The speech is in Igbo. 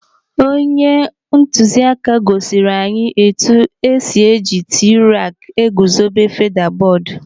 Onye ntụziaka gosiri anyị etu esi eji t-raak eguzobe feda bọọdụ.